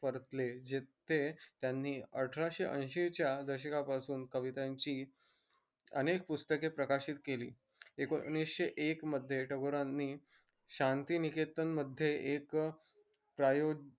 परतले जेथे त्यांनी आठरक्षे ऐशी दशकापासून कवितांची अनेक पुस्तक प्रकाशित केली एकोनिषे एक मध्ये टागोरांनी शांतिनिकेतन मध्ये एक प्रायो